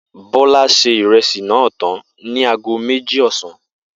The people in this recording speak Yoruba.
Bó̩lá se ìre̩sì náà tán ní aago méjì ò̩sán